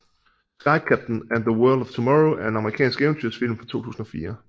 Sky Captain and the World of Tomorrow er en amerikansk eventyrsfilm fra 2004